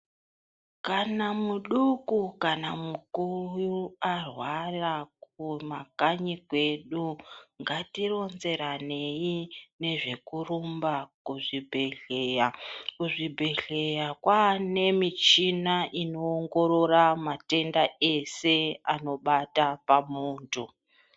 Kana muduku kana mukuru arwara kumakanyi kwedu ngatironzeranei nezvekurumba kuzvibhehleya. Kuzvibhehleya kwane muchina inowongorora matenda ese anobata pamuntu.